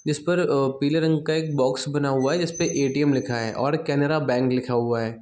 जिस पर अ पीले रंग का एक बॉक्स बना हुआ है जिस पे ऐ. टी.एम. लिखा है और केनरा बैंक लिखा हुआ है।